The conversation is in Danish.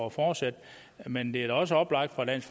at fortsætte men det er da også oplagt fra dansk